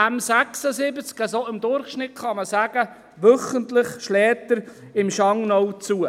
Man kann sagen, dass der M76 im Durchschnitt wöchentlich im Schangnau zuschlägt.